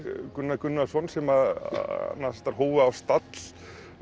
Gunnar Gunnarsson sem nasistar hófu á stall